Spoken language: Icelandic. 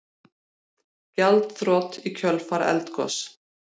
Gjaldþrot í kjölfar eldgoss